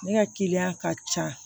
Ne ka kiliyan ka ca